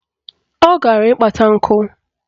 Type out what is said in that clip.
Ọ gara ịkpata nkụ